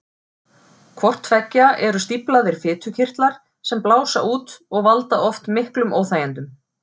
Hvort tveggja eru stíflaðir fitukirtlar sem blása út og valda oft miklum óþægindum.